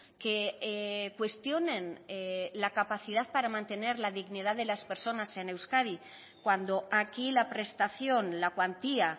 que cuestionen la capacidad para mantener la dignidad de las personas en euskadi cuando aquí la prestación la cuantía